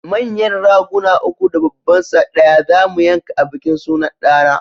Manyan Raguna uku da babban sa ɗaya zamu yanka a bikin sunan ɗa na